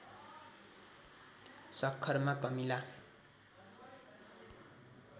सक्खरमा कमिला